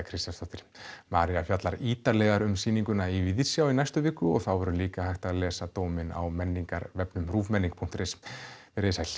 Kristjánsdóttir María fjallar ítarlegar um sýninguna í Víðsjá í næstu viku og þá verður líka hægt að lesa dóminn á menningarvefnum ruvmenning punktur is veriði sæl